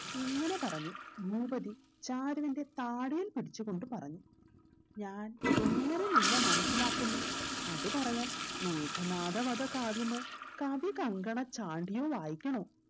ഇങ്ങനെ പറഞ്ഞു ഭൂപതി ചാരുവിന്റെ താടിയിൽ പിടിച്ചു കൊണ്ട് പറഞ്ഞു ഞാൻ എങ്ങനെ നിന്നെ മനസിലാക്കുന്നു അത് പറയാൻ മേഘനാഥവധ കാവ്യമോ കവി കങ്കണ ചാൻഡ്യു വായിക്കണോ